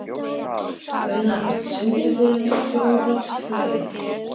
Unna, syngdu fyrir mig „Fjólublátt flauel“.